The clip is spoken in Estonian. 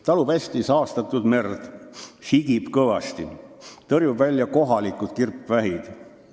Talub hästi saastatud merd, sigib kõvasti, tõrjub välja kohalikud kirpvähid.